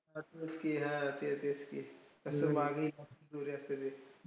असंच की हां ते तेच की. असं मागे एखांदी दोरी असतं ते.